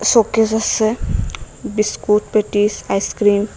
Showcase আসে biscuit patties ice cream.